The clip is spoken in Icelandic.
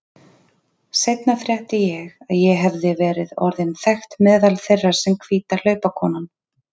Seinna frétti ég að ég hefði verið orðin þekkt meðal þeirra sem hvíta hlaupakonan.